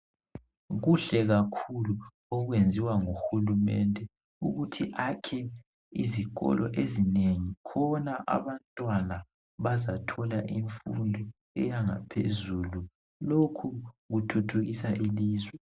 Kuhle kakhulu okwenziwa nguhulumende ukuthi akhe izikolo ezinengi khona abantwana bazathola imfundo yebanga langaphezulu lokhu kuthuthukisa ilizwe.